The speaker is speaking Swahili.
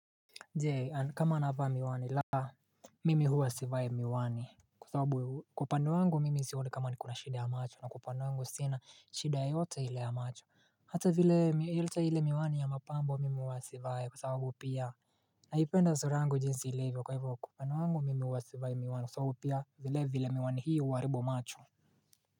Je kama anavaa miwani la mimi huwa sivai miwani Kwa sababu kwa upande wangu mimi sioni kama nikona shida ya macho na kwa upande wangu sina shida yoyote ile ya macho Hata vile ile ile miwani ya mapambo mimi huwa sivai kwa sababu pia Naipenda sura angu jinsi ilivyo kwa hivyo Kwa upande wangu mimi huwa sivai miwani kwa sababu pia vile vile miwani hiyo huharibu macho.